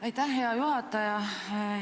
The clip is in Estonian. Aitäh, hea juhataja!